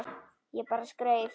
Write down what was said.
Ég bara skreið